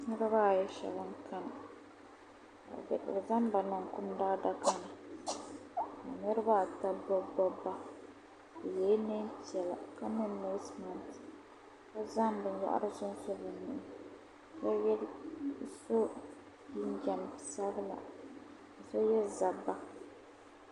niriba ayi shɛba n-kani ka bɛ zaŋ ba niŋ kum daadaka ni ka niriba ata gbibigbibi ba bɛ yela neen'piɛla ka nye neesinima ka zaŋ bin yahiri sunsu bɛ nuhi ka ye so jinjam sabila ka ye zabiba